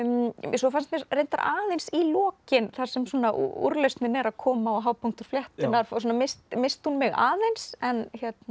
svo fannst mér reyndar aðeins í lokin þar sem úrlausnin er að koma og hápunktur fléttunnar missti hún mig aðeins en